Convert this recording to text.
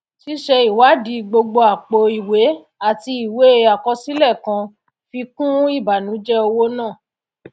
síse ìwádì gbogbo àpò ìwé àti ìwé àkọsílẹ kàn fi kún ìbànújẹ owó náà